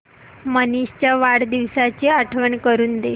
मनीष च्या वाढदिवसाची आठवण करून दे